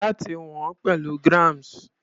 Láti wọ̀n ọ́n pẹ̀lú grams.